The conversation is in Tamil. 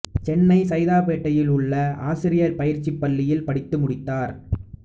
சென்னை சைதாப்பேட்டையில் உள்ள ஆசிரியர் பயிற்சிப் பள்ளியில் படித்து முடித்தார்